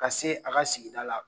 Ka se a ka sigida la